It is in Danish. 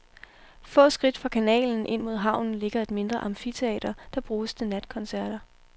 Få skridt fra kanalen ind mod havnen ligger et mindre amfiteater, der bruges til natkoncerter.